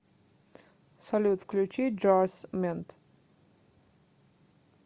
салют включи джарс мент